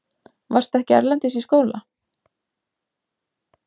Varstu ekki erlendis í skóla?